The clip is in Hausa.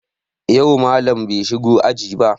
Yau Mallam bai shigo aji ba